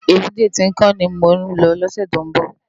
Ébùté Tinkán ni mó lò lòsè tó n bò